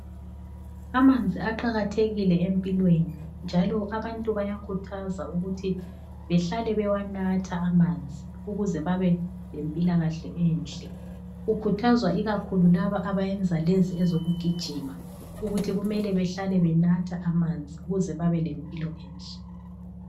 Amanzi aqakathekile empilweni, njalo abantu bayakhuthazwa ukuthi behlale bewanatha amanzi ukuze babe le mpilakahle enhle. Kukhuthazwa ikakhulu laba abeyenza lezo ezokugijima ukuthi kumele behlale benatha amanzi ukuze babe lempilo enhle.